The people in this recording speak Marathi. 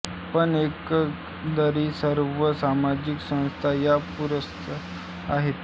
पण एकंदरीत सर्व सामाजिक संस्था या पुरुषसत्ताक आहेत